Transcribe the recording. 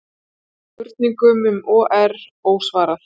Spurningum um OR ósvarað